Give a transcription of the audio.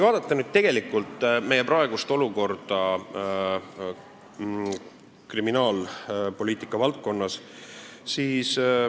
Vaatame nüüd praegust olukorda kriminaalpoliitika valdkonnas.